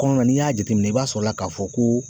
Kɔnɔ na n'i y'a jateminɛ i b'a sɔrɔ la k'a fɔ ko